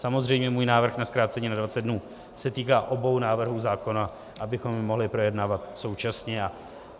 Samozřejmě můj návrh na zkrácení na 20 dnů se týká obou návrhů zákona, abychom je mohli projednávat současně.